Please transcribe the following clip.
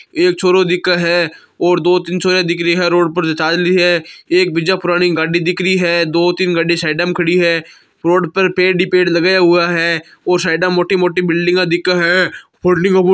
एक छोरो दिखे है और दो तीन छोरिया दिख रही है रोड पर जो चाल री है एक बीजा पुरानी गाड़ी दिख री है दो तीन गाड़ी साइडा मे खड़ी है रोड पर पेड़ ही पेड़ लगाया हुआ है और साइडा मे मोटी मोटी बिल्डिंगा दिखे हैं --